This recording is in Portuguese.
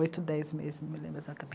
Oito, dez meses, não me lembro